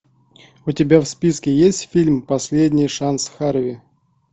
у тебя в списке есть фильм последний шанс харви